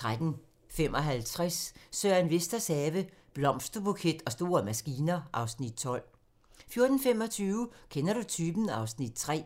13:55: Søren Vesters have - Blomsterbuket og store maskiner (Afs. 12) 14:25: Kender du typen? (Afs. 3)